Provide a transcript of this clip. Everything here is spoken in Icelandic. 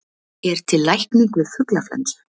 er til lækning við fuglaflensu